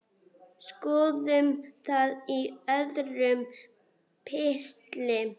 Skoðum það í öðrum pistli.